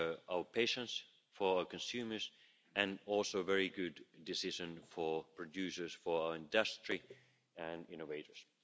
our patients, for our consumers and also a very good decision for producers, for industry and innovators.